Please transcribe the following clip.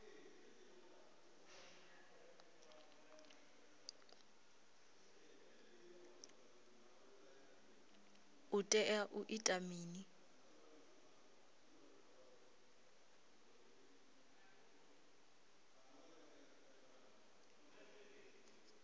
u tea u ita mini